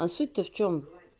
а суть то в чём